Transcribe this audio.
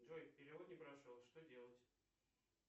джой перевод не прошел что делать